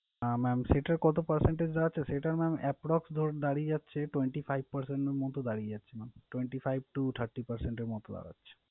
আহ Mam সেটার কত percentage দাঁড়াচ্ছে সেটা mam approx ধরুন দাঁড়িয়ে যাচ্ছে twenty five percent এর মত দাঁড়িয়ে যাচ্ছে mam । Twenty five to thirty percent এর মত দাঁড়াচ্ছে।